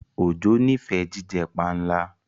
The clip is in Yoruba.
Ojo n'ifẹ jíjẹ panla.